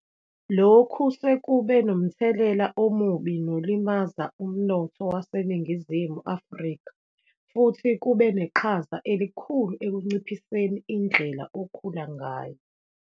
Lokhu sekube nomthelela omubi nolimaza umnotho waseNingizimu Afrika futhi kube neqhaza elikhulu ekunciphoseni indlela okhula ngayo.